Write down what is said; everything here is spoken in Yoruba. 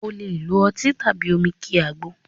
O lè lo ọtí tàbí omi kí àgbo